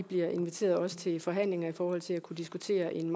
bliver inviteret til forhandlinger i forhold til at kunne diskutere en